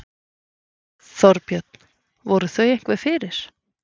Þorbjörn: Voru þau einhver fyrir?